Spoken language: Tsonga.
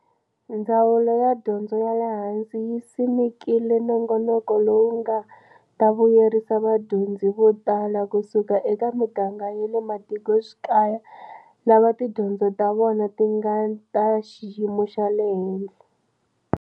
Ndzawulo ya Dyondzo ya le Hansi yi simekile nongonoko lowu nga ta vuyerisa vadyondzi vo tala kusuka eka miganga ya le matikoxikaya lava tidyondzo ta vona ti nga ta xiyimo xa le henhla.